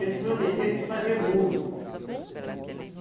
Eles prometeram de fazer muro.